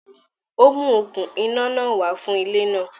Ó mú okún iná náà wá fún ilẹ náà.